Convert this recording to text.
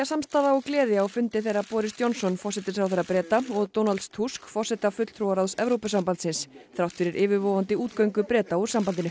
samstaða og gleði á fundi þeirra Boris Johnson forsætisráðherra Breta og Donalds Tusk forseta fulltrúaráðs Evrópusambandsins þrátt fyrir yfirvofandi útgöngu Breta úr sambandinu